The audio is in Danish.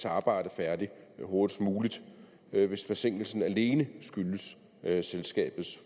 arbejde færdigt hurtigst muligt hvis forsinkelsen alene skyldes selskabets